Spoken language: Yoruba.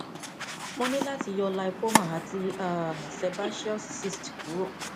mo ti ní láti yọ lipoma àti um sebaceous cyst kúrò